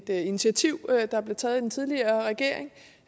initiativ der blev taget i den tidligere regering